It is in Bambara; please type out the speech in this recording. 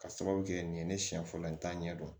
Ka sababu kɛ nin ye ne siɲɛ fɔlɔ ye n t'a ɲɛ dɔn